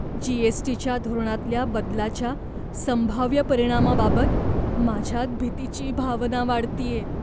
जी.एस.टी.च्या धोरणातल्या बदलाच्या संभाव्य परिणामाबाबत माझ्यात भीतीची भावना वाढतेय.